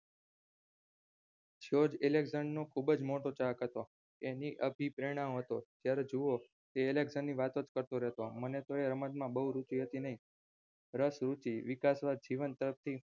George નો ખુબજ મોટો ચાહક હતો. એની અભી પ્રેરણાઓ હતો તે ની વાતોજ કરતો મને તો એ રમતમાં બહુ રુચિ હતી નહિ રસ રુચિ વિકાશવાદ જીવન તરફથી